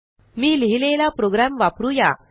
मी लिहिलेला प्रोग्रॅम वापरू या